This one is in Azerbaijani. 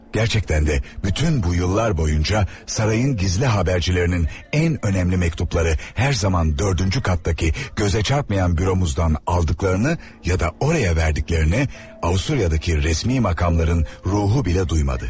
Gərçəkdən də bütün bu illər boyunca sarayın gizli xəbərçilərinin ən önəmli məktubları hər zaman dördüncü qatdakı gözə çarpmayan büromuzdan aldıqlarını ya da oraya verdiklərini Avstriyadakı rəsmi makamların ruhu belə duymadı.